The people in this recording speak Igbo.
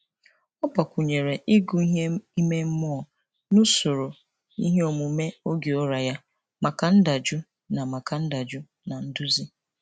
Ọ gbakwụnyere ịgụ ihe ime mmụọ n'usoro iheomume oge ụra ya maka ndajụ na maka ndajụ na nduzi.